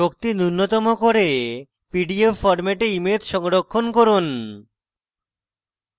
শক্তি নুন্যতম করে pdf ফরম্যাটে image সংরক্ষণ করুন